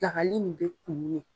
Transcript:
Pilakali in bɛ kumun le.